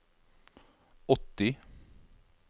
åtti